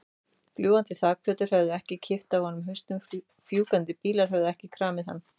Fljúgandi þakplötur höfðu ekki klippt af honum hausinn, fjúkandi bílar höfðu ekki kramið hann.